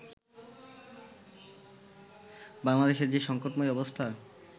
বাংলাদেশে যে সংকটময় অবস্থা